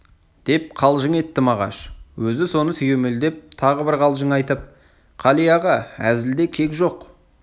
деп қалжың етті мағаш өзі соны сүйемелдеп тағы бір қалжың айтып қали аға әзілде кек жоқ